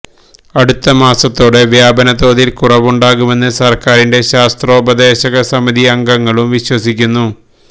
അടുത്ത മാസത്തോടെ വ്യപനതോതിൽ കുറവുണ്ടാകുമെന്ന് സർക്കാരിന്റെ ശാസ്ത്രോപദേശക സമിതി അംഗങ്ങളും വിശ്വസിക്കുന്നു